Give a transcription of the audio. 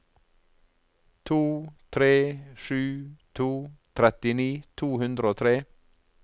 to tre sju to trettini to hundre og tre